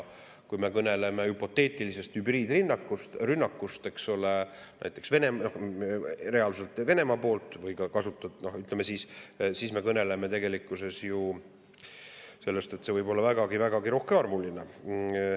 Kui me kõneleme hüpoteetilisest hübriidrünnakust, eks ole, näiteks reaalselt Venemaa poolt, siis tegelikkuses see võib olla vägagi rohkearvuline.